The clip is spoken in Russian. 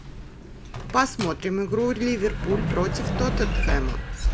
посмотрим игру ливерпуль против тоттенхэма